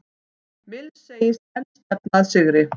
Mills segist enn stefna að sigri